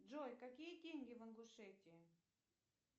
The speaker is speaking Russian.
джой какие деньги в ингушетии